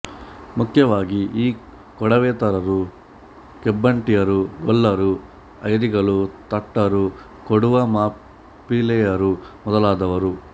ಮುಖ್ಯವಾಗಿ ಈ ಕೊಡವೇತರರು ಕೆಂಬಟಿಯರು ಗೊಲ್ಲರು ಐರಿಗಳು ತಟ್ಟರು ಕೊಡವ ಮಾಪಿಳ್ಳೆಯರು ಮೊದಲಾದವರು